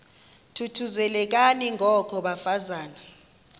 thuthuzelekani ngoko bafazana